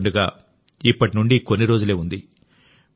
హోలీ పండుగ ఇప్పటి నుండి కొన్ని రోజులే ఉంది